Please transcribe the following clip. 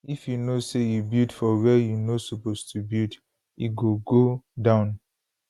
if you know say you build for wia you no suppose to build e go go down